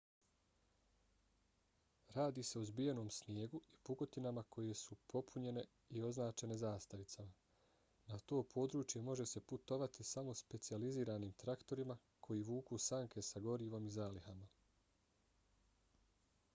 radi se o zbijenom snijegu i pukotinama koje su popunjene i označene zastavicama. na to područje može se putovati samo specijaliziranim traktorima koji vuku sanke s gorivom i zalihama